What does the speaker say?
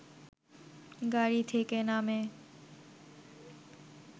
গাড়ি থেকে নামে